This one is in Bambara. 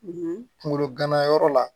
kunkolo ganayɔrɔ la